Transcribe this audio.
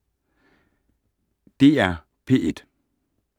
DR P1